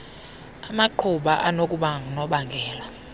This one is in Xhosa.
amaqhuba anokuba ngunobangela